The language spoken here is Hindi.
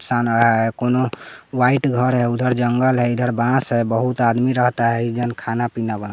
कौनो व्हाइट घर है उधर जंगल है इधर बास है बहुत आदमी रहता है इधर एईजन खाना पीना बन--